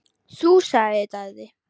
Þú, sagði Daði.